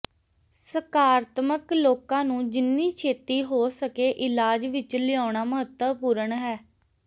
ਸਕਾਰਾਤਮਕ ਲੋਕਾਂ ਨੂੰ ਜਿੰਨੀ ਛੇਤੀ ਹੋ ਸਕੇ ਇਲਾਜ ਵਿੱਚ ਲਿਆਉਣਾ ਮਹੱਤਵਪੂਰਣ ਹੈ